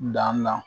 Dan na